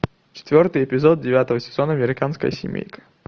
четвертый эпизод девятого сезона американская семейка